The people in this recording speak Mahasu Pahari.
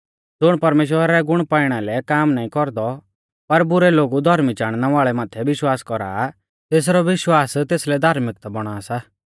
ज़ुण परमेश्‍वरा रै गुण पाइणा लै काम नाईं कौरदौ पर बुरै लोगु धौर्मी चाणनै वाल़ै माथै विश्वास कौरा आ तेसरौ विश्वास तेसलै धार्मिकता बौणा सा